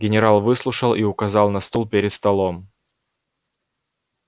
генерал выслушал и указал на стул перед столом